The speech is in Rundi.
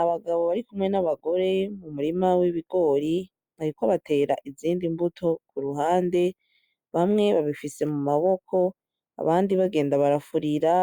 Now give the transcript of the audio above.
Abagabo barikumwe n'abagore mumurima w'ibigori bariko batera izindi mbuto kuruhande, bamwe babifise mumaboko, abandi bagenda barafurira